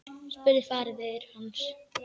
spurði faðir hans.